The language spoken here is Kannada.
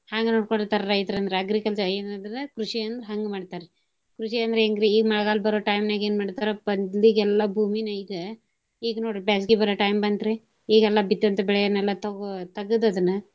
ಹಂಗ ನೋಡ್ಕೊಂಡಿರ್ತಾರಿ ರೈತರ ಅಂದ್ರ agriculture ಏನ ಅಂದ್ರ ಕೃಷಿ ಅಂದ್ರ ಹಂಗ ಮಾಡ್ತಾರಿ. ಕೃಷಿ ಅಂದ್ರ ಹೆಂಗ್ರಿ ಈಗ ಮಳೆಗಾಲ ಬರೋ time ನ್ಯಾಗ ಏನ ಮಾಡ್ತಾರ ಭೂಮಿ ನೇಯ್ದ. ಈಗ ನೋಡ್ರಿ ಬ್ಯಾಸ್ಗಿ ಬರೋ time ಬಂತ್ರಿ. ಈಗೆಲ್ಲಾ ಬಿತ್ತುವಂತ ಬೆಳೆಯನ್ನೆಲ್ಲಾ ತಗೋ~ ತೆಗದ ಅದನ್ನ.